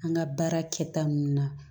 An ka baara kɛta nunnu na